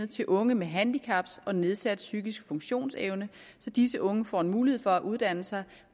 til unge med handicaps og nedsat psykisk funktionsevne så disse unge får en mulighed for at uddanne sig